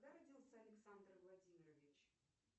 когда родился александр владимирович